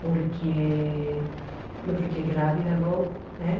Porque eu fiquei grávida logo, né?